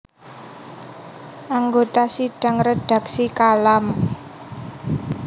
Anggota Sidang Redaksi Kalam